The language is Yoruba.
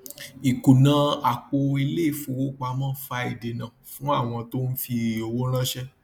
ìkùnà àpò iléìfowópamọ fa ìdènà fún àwọn tó ń fi owó ranṣẹ